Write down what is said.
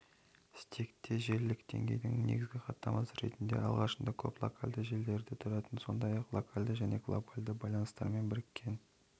стекте желілік деңгейдің негізгі хаттамасы ретінде алғашында көп локальді желілерден тұратын сондай-ақ локальді және глобальді байланыстармен біріккен